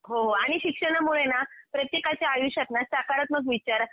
हो हो आणि शिक्षणामुळे ना, प्रत्येकाच्या आयुष्यात ना सकारात्मक विचार